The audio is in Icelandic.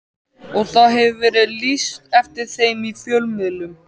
Og það hefur verið lýst eftir þeim í fjölmiðlum.